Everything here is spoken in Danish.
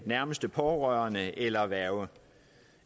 nærmeste pårørerende eller værge